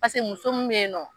Paseke muso min be yen nɔ